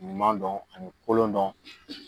Ɲuman dɔn ani kolon dɔn